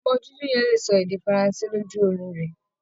Ọmọ dúdú yẹn le ṣọ èdè Faransé lójú orun rẹ̀.